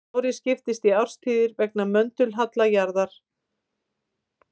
Árið skiptist í árstíðir vegna möndulhalla jarðar.